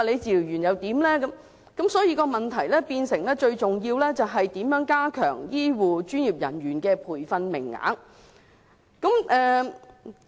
所以，最重要的問題是如何增加醫護和專業人員的培訓名額。